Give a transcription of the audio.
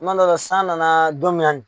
Kuma dɔ la, san nana don minna nin.